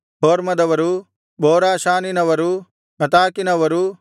ಹೊರ್ಮದವರು ಬೋರಾಷಾನಿನವರು ಅತಾಕಿನವರು